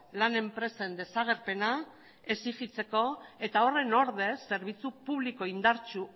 lan enpresen desagerpena exigitzeko eta horren ordez zerbitzu publiko indartsu